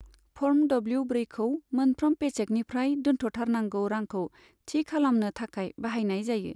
Form W ब्रैखौ मोनफ्रोम पेचेकनिफ्राय दोन्थ'थारनांगौ रांखौ थि खालामनो थाखाय बाहायनाय जायो।